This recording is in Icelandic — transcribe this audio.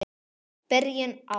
Byrjun árs.